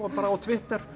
á Twitter